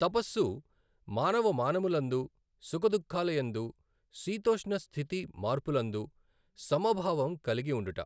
తపస్సు మానవమానములందు సుఖదుఃఖాల యందు శీతోష్ణ స్థితి మార్పులందు సమభావం కలిగి ఉండుట.